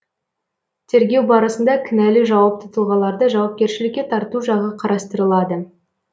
тергеу барысында кінәлі жауапты тұлғаларды жауапкершілікке тарту жағы қарастырылады